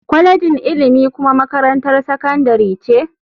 Kwalejin ilimi kuma makarantar sakandare ce.